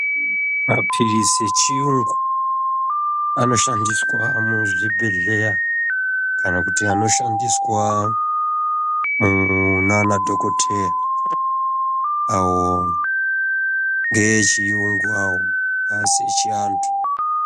Mapirizi echiyungu anoshandiswa muzvibhedhleya kana kuti anoshandiswa munanadhokodheya awo ngeechiyungu awo aasi echianthu.